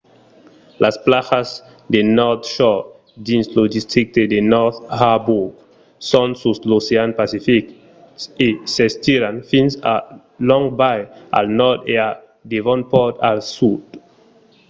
las plajas de north shore dins lo districte de north harbour son sus l'ocean pacific e s'estiran fins a long bay al nòrd e a devonport al sud